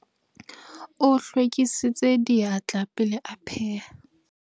o hlwekisitse diatla pele a pheha